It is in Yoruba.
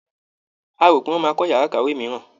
A rò pé wọ́n máa kọ́ yàrá ìkàwé mìíràn.